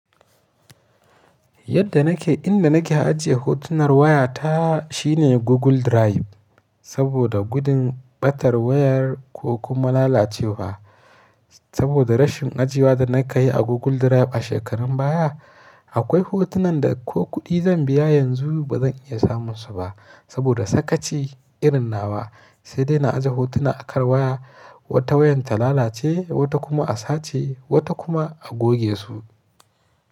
Yadda nake, inda nake ajiye hotunar waya ta shine Google Drive. Saboda gudun ɓatar wayar ko kuma lalacewa. Saboda rashin aje wa da na ka yi a Google Drive a shekarun baya, akwai hotunan da ko kuɗi zan biya yanzu ba zan iya samun su ba saboda sakaci irin nawa. Sai dai na aje hotuna a kan waya, wata wayar ta lalace, wata kuma a sace, wata kuma a goge su.